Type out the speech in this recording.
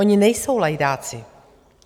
Oni nejsou lajdáci.